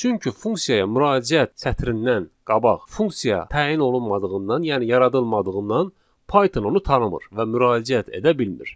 Çünki funksiyaya müraciət sətrindən qabaq funksiya təyin olunmadığından, yəni yaradılmadığından Python onu tanımır və müraciət edə bilmir.